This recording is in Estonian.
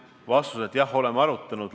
Vastus on, et jah, oleme arutanud.